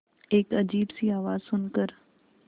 एक अजीब सी आवाज़ सुन कर